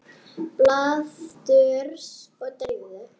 Baldurs og Drífu?